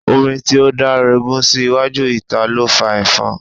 Omi tí ó daregun sí iwájú ìta ló fa efon.